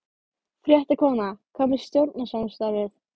Ég sá auglýsingu frá hljómsveit Magnúsar Ingimarssonar.